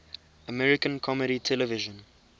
american comedy television